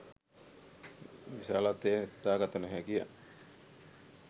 විශාලත්වය සිතාගත නොහැකිය